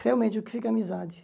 Realmente, o que fica é amizade.